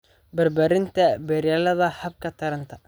Barbaarinta beeralayda hababka taranta.